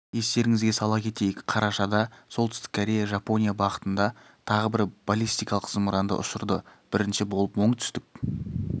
естеріңізге сала кетейік қарашада солтүстік корея жапония бағытында тағы бір баллистикалық зымыранды ұшырды бірінші болып оңтүстік